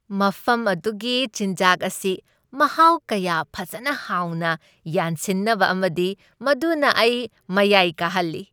ꯃꯐꯝ ꯑꯗꯨꯒꯤ ꯆꯤꯟꯖꯥꯛ ꯑꯁꯤ ꯃꯍꯥꯎ ꯀꯌꯥ ꯐꯖꯅ ꯍꯥꯎꯅ ꯌꯥꯟꯁꯤꯟꯅꯕ ꯑꯃꯅꯤ ꯃꯗꯨꯅ ꯑꯩ ꯃꯌꯥꯏ ꯀꯥꯍꯜꯂꯤ ꯫